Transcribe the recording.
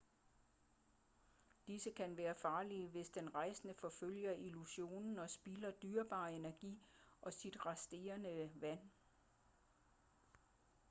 disse kan være farlige hvis den rejsende forfølger illusionen og spilder dyrebar energi og sit resterende vand